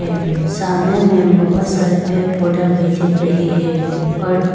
ये सामने में बहोत सारे पेड़ पौधा भी दिख रही है और--